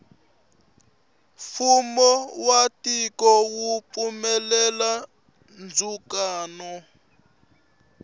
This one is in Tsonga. fumo wa tiko wu pfumelela ndzukano